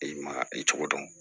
I ma i cogo dɔn